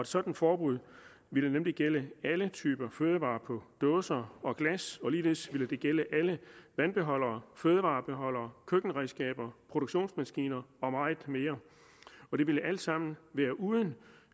sådant forbud ville nemlig gælde alle typer fødevarer på dåse og glas og ligeledes ville det gælde alle vandbeholdere fødevarebeholdere køkkenredskaber produktionsmaskiner og meget mere og det ville alt sammen være uden